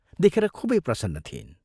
देखेर खूबै प्रसन्न थिइन्।